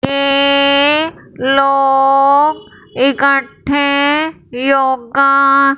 ये लोग इकट्ठे योगा--